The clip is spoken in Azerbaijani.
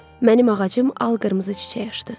Mənim ağacım al qırmızı çiçək açdı.